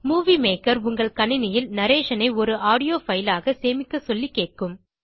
movie maker உங்கள் கணினியில் narration ஐ ஒரு ஆடியோ பைல் ஆக சேமிக்க சொல்லி கேட்கும்